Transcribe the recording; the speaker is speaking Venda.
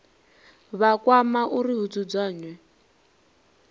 vha kwama uri hu dzudzanywe